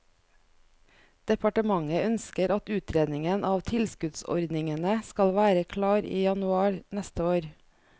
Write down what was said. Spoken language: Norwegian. Departementet ønsker at utredningen av tilskuddsordningene skal være klar i januar neste år.